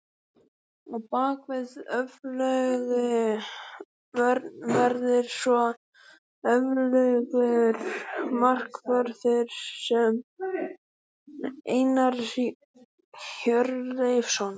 Á bakvið öfluga vörn verður svo öflugur markvörður, Einar Hjörleifsson.